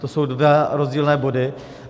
To jsou dva rozdílné body.